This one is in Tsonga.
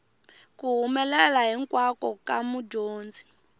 ku humelela hinkwako ka mudyondzi